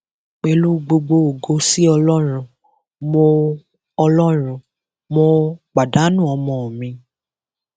pẹlú gbogbo ògo sí ọlọrun mo ọlọrun mo pàdánù ọmọ mi